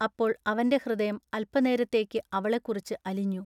അപ്പോൾ അവന്റെ ഹൃദയം അല്പനേരത്തേക്കു അവളെക്കുറിച്ചു അലിഞ്ഞു.